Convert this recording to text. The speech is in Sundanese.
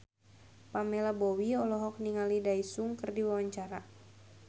Pamela Bowie olohok ningali Daesung keur diwawancara